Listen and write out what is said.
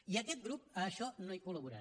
i aquest grup a això no hi col·laborarà